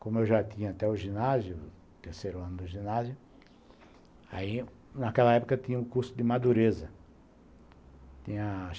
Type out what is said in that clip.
Como eu já tinha até o ginásio, terceiro ano do ginásio, aí, naquela época, tinha o curso de Madureza.